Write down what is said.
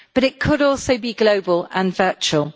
But it could also be global and virtual.